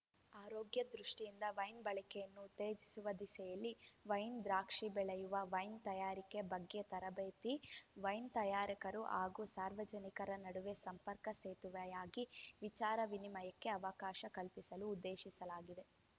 ಆರೋಗ್ಯ ದೃಷ್ಟಿಯಿಂದ ವೈನ್‌ ಬಳಕೆಯನ್ನು ಉತ್ತೇಜಿಸುವ ದಿಸೆಯಲ್ಲಿ ವೈನ್‌ ದ್ರಾಕ್ಷಿ ಬೆಳೆಯುವ ವೈನ್‌ ತಯಾರಿಕೆ ಬಗ್ಗೆ ತರಬೇತಿ ವೈನ್‌ ತಯಾರಕರು ಹಾಗೂ ಸಾರ್ವಜನಿಕರ ನಡುವೆ ಸಂಪರ್ಕ ಸೇತುವೆಯಾಗಿ ವಿಚಾರ ವಿನಿಮಯಕ್ಕೆ ಅವಕಾಶ ಕಲ್ಪಿಸಲು ಉದ್ದೇಶಿಸಲಾಗಿದೆ